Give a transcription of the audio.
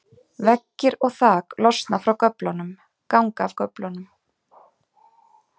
Veggir og þak losna frá göflunum, ganga af göflunum.